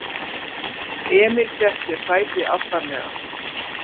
Emil fékk sér sæti aftarlega.